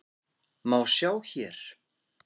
má sjá hér.